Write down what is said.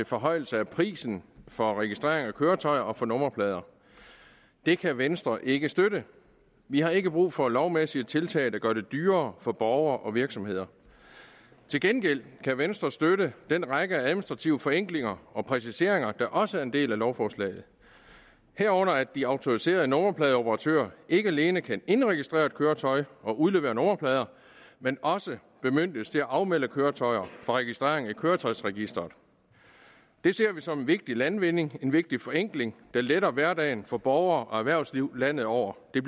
forhøjelse af prisen for registrering af køretøjer og for nummerplader det kan venstre ikke støtte vi har ikke brug for lovmæssige tiltag der gør det dyrere for borgere og virksomheder til gengæld kan venstre støtte den række af administrative forenklinger og præciseringer der også er en del af lovforslaget herunder at de autoriserede nummerpladeoperatører ikke alene kan indregistrere et køretøj og udlevere nummerplader men også bemyndiges til at afmelde køretøjer fra registrering i køretøjsregisteret det ser vi som en vigtig landvinding en vigtig forenkling der letter hverdagen for borgere og erhvervsliv landet over der